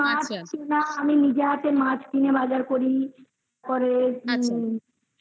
মাছ না. আমি নিজে হাতে মাছ কিনে বাজার করি